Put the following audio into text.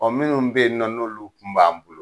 Ɔn minnu be yen nɔ, n'olu kun b'an bolo